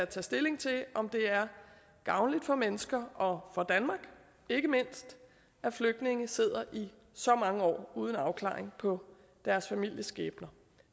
tage stilling til om det er gavnligt for mennesker og for danmark ikke mindst at flygtninge sidder i så mange år uden afklaring på deres familiers skæbne